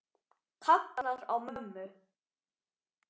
Kallar á mömmu.